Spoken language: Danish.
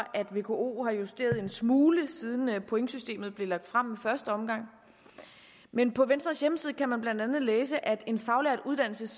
at vko har justeret en smule siden pointsystemet blev lagt frem i første omgang men på venstres hjemmeside kan man blandt andet læse at en faglært uddannelse